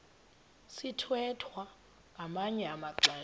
sithwethwa ngamanye amaxesha